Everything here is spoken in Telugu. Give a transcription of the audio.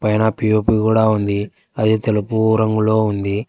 పైనా పిఒపి కూడా ఉంది అదే తెలుపు రంగులో ఉంది.